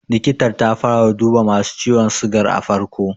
Likitar ta fara duba masu ciwon sigar a farko.